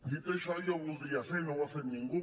dit això jo voldria fer i no ho ha fet ningú